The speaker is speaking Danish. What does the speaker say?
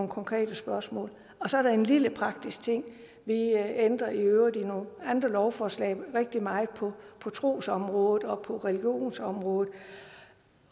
konkrete spørgsmål så er der en lille praktisk ting vi ændrer i øvrigt i nogle andre lovforslag rigtig meget på trosområdet og på religionsområdet